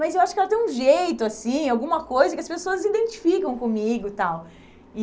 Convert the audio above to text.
Mas eu acho que ela tem um jeito, assim, alguma coisa que as pessoas identificam comigo e tal. E